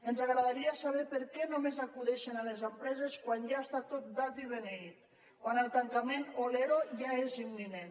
ens agradaria saber per què només acudeixen a les empreses quan ja està tot dat i beneït quan el tancament o l’ero ja és imminent